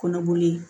Kɔnɔboli